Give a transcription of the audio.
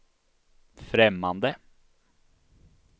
främmande